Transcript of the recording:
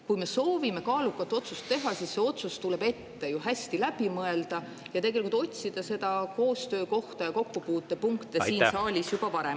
Kui me soovime kaalukat otsust teha, siis see otsus tuleb ju ette hästi läbi mõelda ning otsida koostöökohti ja kokkupuutepunkte saalis juba varem.